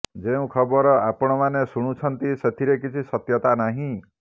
ଯେଉଁ ଖବର ଆପଣମାନେ ଶୁଣୁଛନ୍ତି ସେଥିରେ କିଛି ସତ୍ୟତା ନାହିଁ